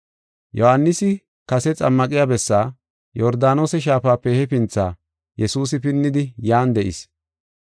Yohaanisi kase xammaqiya bessaa, Yordaanose Shaafape hefinthi Yesuusi pinnidi yan de7is.